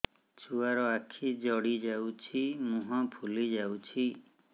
ଛୁଆର ଆଖି ଜଡ଼ି ଯାଉଛି ମୁହଁ ଫୁଲି ଯାଇଛି